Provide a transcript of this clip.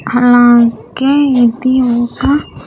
అలాగే ఇది ఒక.